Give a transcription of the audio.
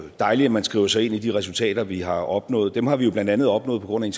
dejligt at man skriver sig ind i de resultater vi har opnået dem har vi jo blandt andet opnået på grund af